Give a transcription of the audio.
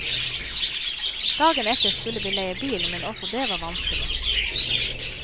Dagen etter skulle vi leie bil, men også det var vanskelig.